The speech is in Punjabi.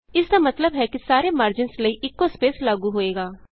ਇਸਦਾ ਮਤਲਬ ਹੈ ਕਿ ਸਾਰੇ ਮਾਰਜਿਨਸ ਲਈ ਇਕੋ ਸਪੇਸ ਲਾਗੂ ਹੋਏਗਾ